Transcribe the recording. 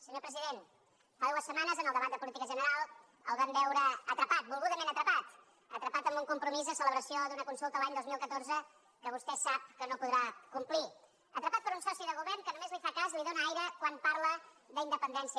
senyor president fa dues setmanes en el debat de política general el vam veure atrapat volgudament atrapat atrapat amb un compromís de celebració d’una consulta l’any dos mil catorze que vostè sap que no podrà complir atrapat per un soci de govern que només li fa cas li dóna aire quan parla d’independència